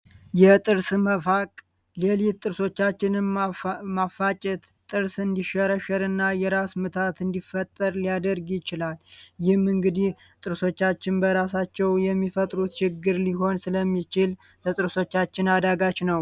የጥርስ መፋቅ ሌሊት ጥቅሶቻችንና የራስ ምታት እንዲፈጠር ሊያደርግ ይችላል። ጥርሶቻችን በራሳቸው የሚፈጥሩት ችግር ሊሆን ስለሚችል አዳጋች ነው